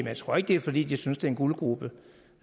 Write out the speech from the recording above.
jeg tror ikke det er fordi de synes det er en guldgrube